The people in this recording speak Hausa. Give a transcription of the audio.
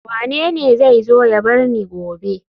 Wanene zai zo ya bar ni gobe